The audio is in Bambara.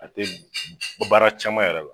A te baara caman yɛrɛ la .